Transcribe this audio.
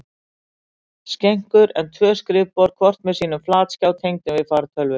skenkur en tvö skrifborð, hvort með sínum flatskjá tengdum við fartölvu.